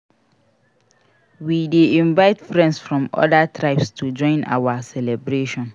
We dey invite friends from oda tribes to join our celebration.